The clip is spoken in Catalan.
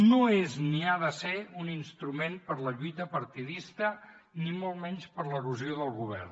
no és ni ha de ser un instrument per a la lluita partidista ni molt menys per a l’erosió del govern